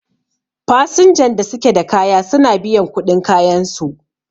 fasnjan da suke da kaya suna biyan kuɗin kayansu